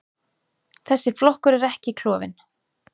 Þessi flokkur er ekki klofinn.